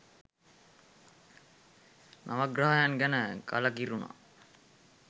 නවග්‍රහයන් ගැන කළකිරුනා